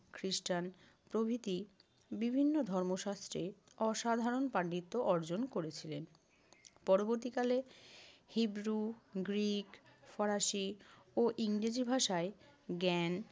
খ্রিষ্টান প্রভৃতি বিভিন্ন ধর্মশাস্ত্রে অসাধারণ পাণ্ডিত্য অর্জন করেছিলেন। পরবর্তীকালে হিব্রু, গ্রিক, ফরাসি ও ইংরেজি ভাষায় জ্ঞান